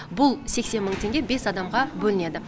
бұл сексен мың теңге бес адамға бөлінеді